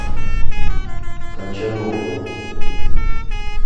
качанове